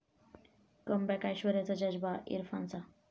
comeback ऐश्वर्याचं 'जज्बा' इरफानचा